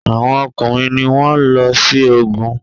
Awọn ọkùnrin ní wón ló sí ògún